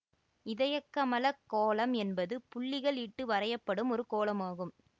இதயக்கமலக் கோலம் என்பது புள்ளிகள் இட்டு வரையப்படும் ஒரு கோலம் ஆகும்